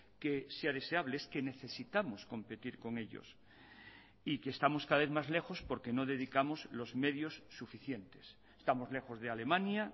que sea deseable es que necesitamos competir con ellos y que estamos cada vez más lejos porque no dedicamos los medios suficientes estamos lejos de alemania